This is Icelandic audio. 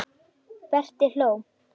Berti hló.